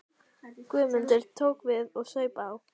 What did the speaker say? Guðmundur tók við og saup á.